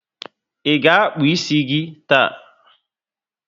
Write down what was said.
I ga akpu ísì gị taa?